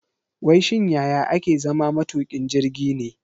Wai shin yaya ake zama matukin jirgi ne?